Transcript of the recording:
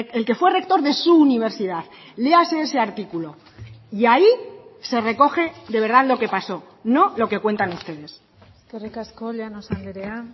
el que fue rector de su universidad léase ese artículo y ahí se recoge de verdad lo que pasó no lo que cuentan ustedes eskerrik asko llanos andrea